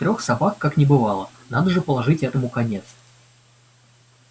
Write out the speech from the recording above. трёх собак как не бывало надо же положить этому конец